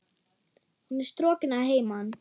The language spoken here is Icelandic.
Hún er strokin að heiman.